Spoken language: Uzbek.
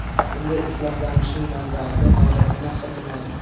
Bunday ifloslanishning manbasi hojatxona hisoblanadi.